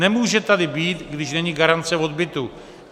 Nemůže tady být, když není garance odbytu.